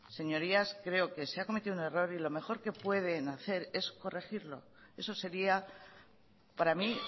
señorías creo que se ha cometido un error y lo mejor que pueden hacer es corregirlo eso sería para mí